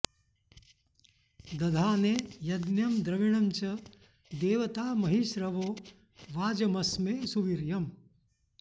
दधा॑ने य॒ज्ञं द्रवि॑णं च दे॒वता॒ महि॒ श्रवो॒ वाज॑म॒स्मे सु॒वीर्य॑म्